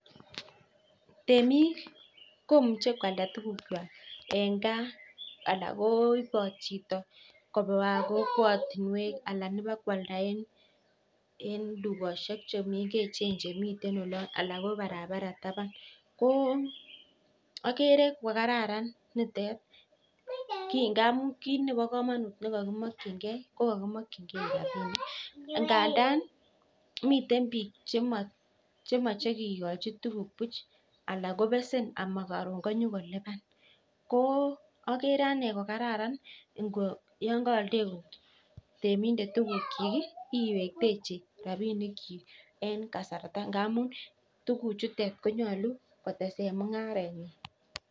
Temik komuche kwalda tuguk kwak eng gaa anan koibot chito kobaa kokwatunkwek amuu akereee kokararan amuu kit nekakimakchinkei rabinik kandaa komitei bik chebesenii koraa akeree keliban